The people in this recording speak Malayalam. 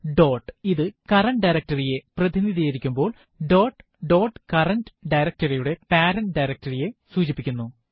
ഡോട്ട് ഇത് കറന്റ് ഡയറക്ടറി യെ പ്രതിനിധീകരിക്കുമ്പോൾdot ഡോട്ട് കറന്റ് directory യുടെ പേരന്റ് directory യെ സൂചിപ്പിക്കുന്നു